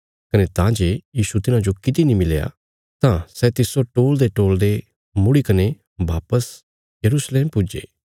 कने तां जे यीशु तिन्हाजो किति नीं मिलया तां सै तिस्सो टोल़देटोल़दे मुड़ी कने वापस यरूशलेम पुज्जे